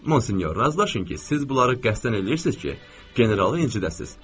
Monsenyor, razılaşın ki, siz bunları qəsdən eləyirsiz ki, generalı incidəsiz.